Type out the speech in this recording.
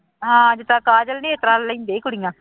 ਹਾਂ ਜਿੱਦਾਂ ਕਾਜਲ ਨੀ ਇਸ ਤਰ੍ਹਾਂ ਲੈਂਦੇ ਕੁੜੀਆਂ